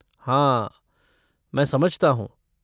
हाँ, मैं समझता हूँ।